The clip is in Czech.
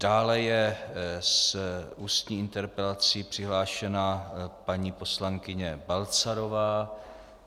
Dále je s ústní interpelací přihlášena paní poslankyně Balcarová.